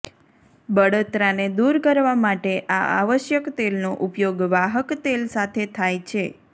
બળતરાને દૂર કરવા માટે આ આવશ્યક તેલનો ઉપયોગ વાહક તેલ સાથે થાય છે